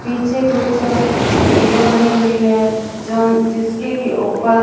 पीछे कुछ सीढ़ियां बनी हुई हैं जो जिसके कि ऊपर--